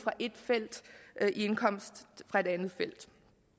i indkomsten fra et andet felt